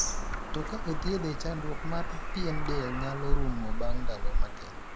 To ka othiethe. chandruok mar pien del nyalo ruomo bang' ndalo matin.